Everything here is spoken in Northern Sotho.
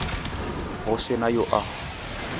go se na yo a